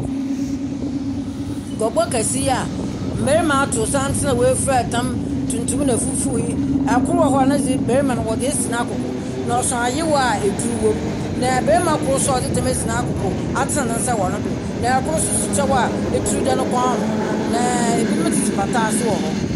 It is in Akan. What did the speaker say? Guabɔ kese yi a mmɛrima ato santsen, a wefura tam tuntum na fufuw yi, ɔkor wɔ hɔ a nedze, bɛrima no wɔdze esi n'akoko na ɔso ayewa a aduru wom. Na bɛrima kor so a ɔdze tam abɔ nekoko atsen nensa wɔ nedo. Na ebinom tse pata ase wɔ hɔ.